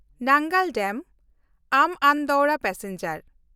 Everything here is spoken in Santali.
ᱱᱟᱝᱜᱟᱞ ᱰᱮᱢ–ᱟᱢᱵᱷ ᱟᱱᱫᱳᱣᱨᱟ ᱯᱮᱥᱮᱧᱡᱟᱨ